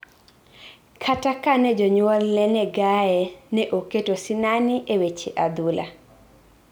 kata ka ne jonyuolne ne gaye ne oketo sinani e weche adhula